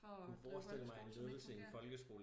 For at drive folkeskole som ikke fungere